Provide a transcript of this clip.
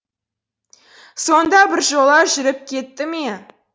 сонда біржола жүріп кетті ме